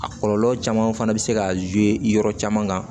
A kɔlɔlɔ caman fana bɛ se ka yɔrɔ caman kan